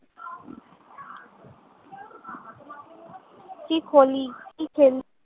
কি করলি? কি খেলি?